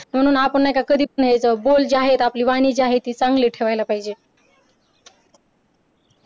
म्हणून आपण नाही का कधीच आपले बोल जे आहेत आपली वाणी जी आहे ती चांगली ठेवायला पाहिजे.